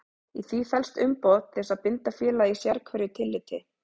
Í því felst umboð til þess að binda félagið í sérhverju tilliti.